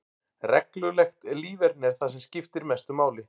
Reglulegt líferni er það sem skiptir mestu máli.